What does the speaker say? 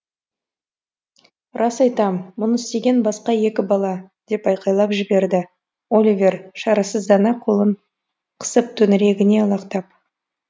рас айтам мұны істеген басқа екі бала деп айқайлап жіберді оливер шарасыздана қолын қысып төңірегіне алақтап